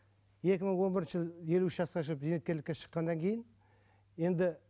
екі мың он бірінші жылы елу үш жасқа шығып зейнеткерлікке шыққаннан кейін енді